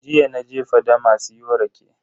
Jiya naje fadama siyo rake.